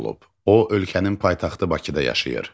O ölkənin paytaxtı Bakıda yaşayır.